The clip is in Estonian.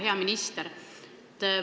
Hea minister!